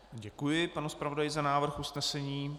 Děkuji panu zpravodaji za návrh usnesení.